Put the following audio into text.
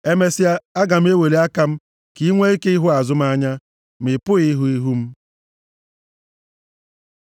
Emesịa, aga m eweli aka m, ka i nwee ike ịhụ azụ m anya, ma ị pụghị ịhụ ihu m.”